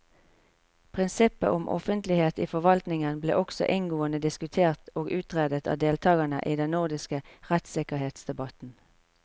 Prinsippet om offentlighet i forvaltningen ble også inngående diskutert og utredet av deltakerne i den nordiske rettssikkerhetsdebatten.